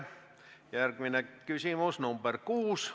Järgmine küsimus, nr 6.